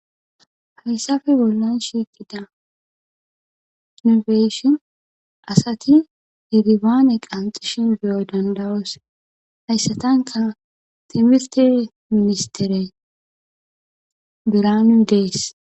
Haysape bollan shiiqida nu be7ishin asathi herebaane qanxxishin be7oy danda7oos; hayssathankka thimirthe ministhere biraanu de7ees.